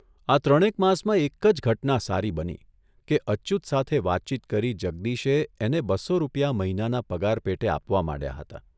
આ ત્રણેક માસમાં એક જ ઘટના સારી બની કે અચ્યુત સાથે વાતચીત કરી જગદીશે એને બસો રૂપિયા મહિનાના પગાર પેટે આપવા માંડ્યા હતા.